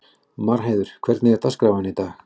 Marheiður, hvernig er dagskráin í dag?